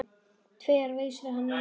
Tvær vísur hennar voru svona